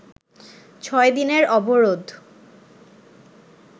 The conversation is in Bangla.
ছয় দিনের অবরোধ